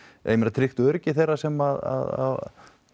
tryggt öryggi þeirra sem að